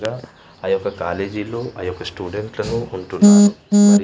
రా ఆ యొక్క కాలేజీ లో ఆ యొక్క స్టూడెంట్ లలో ఉంటున్నారు మరి --